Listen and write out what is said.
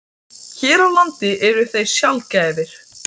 Hér á landi eru þeir sjaldgæfir.